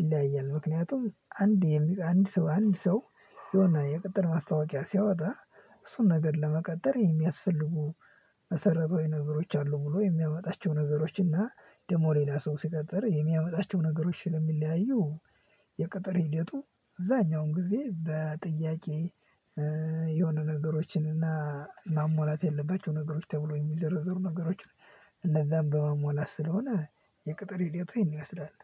ይለያያል ምክንያቱም አንድ የሚቀ አንድ ሰው አንድ ሰው የሆነ የቅጠር ማስታወቂያ ሲያወጣ እሱን ነገር ለመቀጠር የሚያስፈልጉ መሰረታዋ የነገሮች አሉ ብሎ የሚያመጣቸው ነገሮች እና ደግሞ ሌላ ሰው ሲቀጥር የሚያመጣቸው ነገሮች ስለሚለያዩ። የቅጥር ሂደቱ አብዛኛውን ጊዜ በጥያቄ። የሆነ ነገሮችን እና ማሟላት የለባቸው ነገሮች ተብሎ የሚዘረዘሩ ነገሮች። እንዛን በማሟላት ስለሆነ የቅጥር ሂደቱ ይሄን ይመስላል።